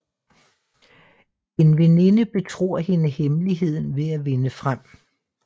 En veninde betror hende hemmeligheden ved at vinde frem